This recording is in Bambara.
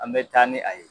An bɛ taa ni a ye